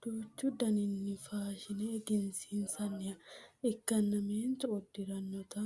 duuchu daninni faashine egensiinsanniha ikkanna meentu uddirannota